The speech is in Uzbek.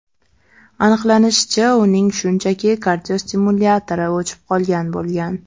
Aniqlanishicha, uning shunchaki kardiostimulyatori o‘chib qolgan bo‘lgan.